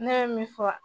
Ne ye min fɔ